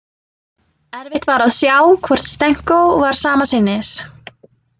Erfitt var að sjá hvort Stenko var sama sinnis.